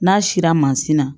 N'a sila mansin na